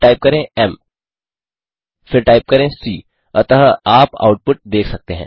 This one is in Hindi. फिर टाइप करें एम फिर टाइप करें सी अतः आप आउटपुट देख सकते हैं